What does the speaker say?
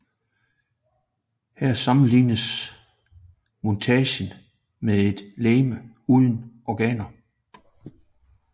Her sammenlignes montagen med et legeme uden organer